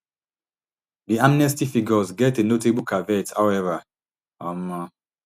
di amnesty figures get a notable caveat howeva um